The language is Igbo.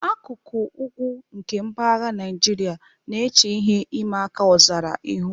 Akụkụ ugwu nke mpaghara Naijiria na-eche ihe ịma aka ọzara ihu.